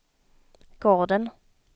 gården